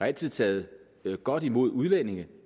altid taget godt imod udlændinge